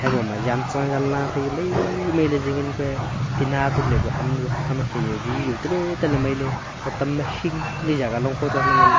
haiboma zantcha nganla maimai ley zingan ku ee tina tukle kua ham nu hama khe zao vi zao taley taley mailey hotam ma hingley jaga longkho to nganley.